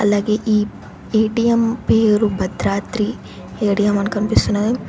అలాగే ఈ ఏ_టీ_ఎం పేరు భద్రాద్రి ఏ_టీ_ఎం అని కనిపిస్తున్నది.